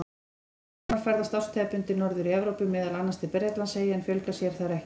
Kóngasvarmar ferðast árstíðabundið norðar í Evrópu, meðal annars til Bretlandseyja, en fjölga sér þar ekki.